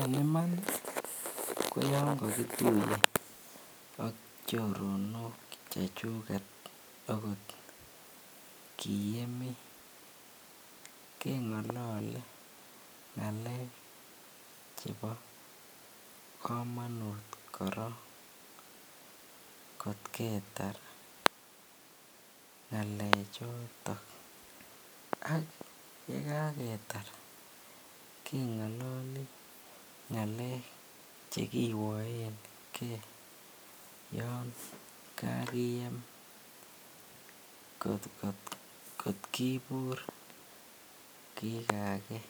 En iman ko yoon kokituye ak choronok chechuket akot kiyemi kengolole ngalek chebo komonut korong kot ketar ngalechon, ak yekaketar kengololi ngalek chekiwoenge yoon kakiyem kot kibur kikakee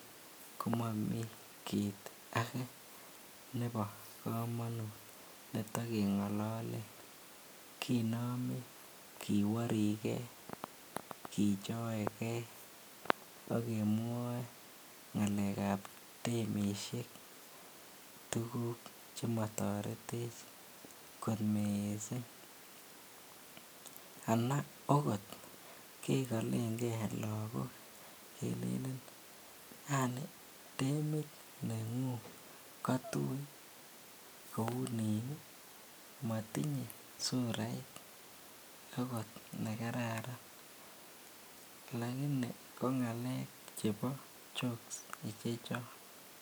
komomii kiit akee nebo komonut netokengololen kinome kiworike, kichoeke ak kemwoe ngalekab demishek tukuk chemotoretech kot mising anan akot kekolenge lokok kelelen yaani demit nengung kotui kounin ii, motinye surait akot nekararan lakini ko ngalek chebo jokes ichechon.